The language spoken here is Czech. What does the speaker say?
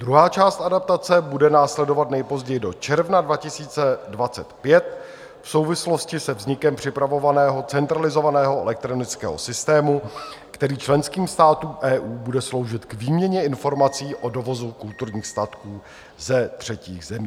Druhá část adaptace bude následovat nejpozději do června 2025 v souvislosti se vznikem připravovaného centralizovaného elektronického systému, který členským státům EU bude sloužit k výměně informací o dovozu kulturních statků ze třetích zemí.